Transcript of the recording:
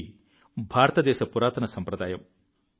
ఇది భారతదేశ పురాతన సంప్రదాయం